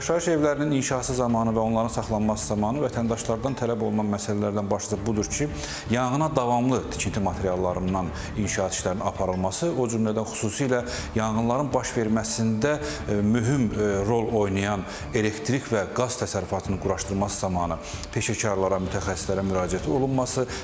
Yaşayış evlərinin inşası zamanı və onların saxlanması zamanı vətəndaşlardan tələb olunan məsələlərdən başlıcası budur ki, yanğına davamlı tikinti materiallarından inşaat işlərinin aparılması, o cümlədən xüsusilə yanğınların baş verməsində mühüm rol oynayan elektrik və qaz təsərrüfatının quraşdırılması zamanı peşəkarlara, mütəxəssislərə müraciət olunması.